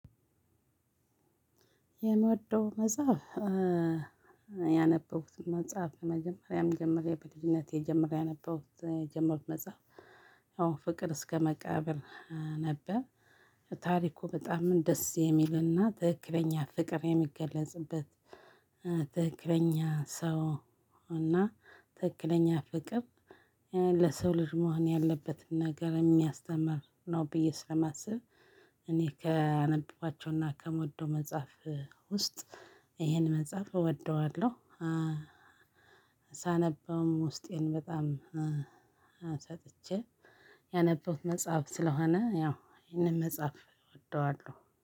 የምወደው መጽሐፍ ያነበብኩትን መጽሐፍ መጀመሪያም ጀምሮ በልጅነቴ ጀምሬ ያነበው የጀምሮ መጽሐፍ ያው ፍቅር እስከ መቃብር ነበር። ታሪኩ በጣም ደስ የሚልና ትክክለኛ ፍቅር የሚገለጽበት ትክክለኛ ሰው እና ትክክለኛ ፍቅር ለሰው ልጅ መሆን ያለበትን ነገር የሚያስተምር ነው። ብዬ ስለማስብ እኔ ከአነበብኳቸውና ከምወደው መጽሐፍ ውስጥ ይሄን መጽሐፍ እወደዋለሁ። ሳነበውም ውስጤን በጣም ሰጥቼ ያነበብኩት መጽሐፍ ስለሆነ ያው ይሄንን መጽሐፍ እወደዋለሁ